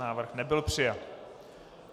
Návrh nebyl přijat.